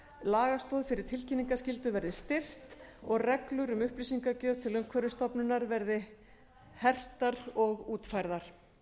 lagastoð fyrir tilkynningarskyldu verði styrkt og reglur um upplýsingagjöf til umhverfisstofnunar verði hertar og útfærðar